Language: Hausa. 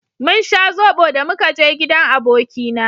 mun sha zobo da muka je gidan abokina